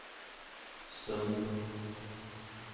stund